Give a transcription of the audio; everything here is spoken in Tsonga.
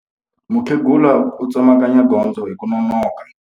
Mukhegula u tsemakanya gondzo hi ku nonoka.